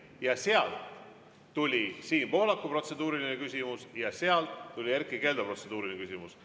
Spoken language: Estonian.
Ja sealt tuli Siim Pohlaku protseduuriline küsimus ja sealt tuli Erkki Keldo protseduuriline küsimus.